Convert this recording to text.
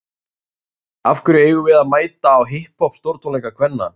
Af hverju eigum við að mæta á hipp hopp stórtónleika kvenna?